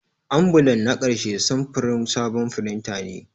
Ambulan na ƙarshe samfurin sabon firinta ne.